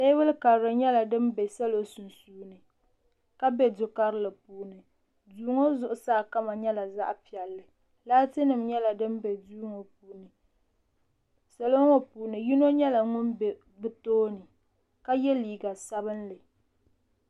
Teebuli karili nyɛla din bɛ salo sunsuuni ka bɛ du karili sunsuuni duu ŋo zuɣusaa kama nyɛla zaɣ piɛlli laati nim nyɛla din bɛ duu ŋo puuni salo ŋo puuni yino nyɛla ŋun bɛ bi tooni ka yɛ liiga sabinli